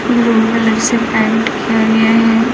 Blue colour से paint किया गया है।